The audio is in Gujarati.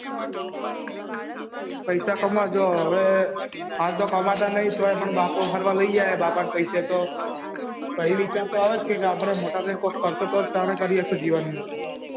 પેસા કમાવા ગયો હવે આતો કમાતા નહી તો પણ બાપો ફરવા લઇ જાય બાપા ના પેસે તો ફરી વિચાર તો આવે આપડે મોટા થઇ ને કોઈક કરશું તો શન કરી સખીતું